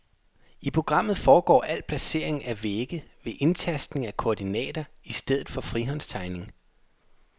I programmet foregår al placering af vægge ved indtastning af koordinater i stedet for frihåndstegning.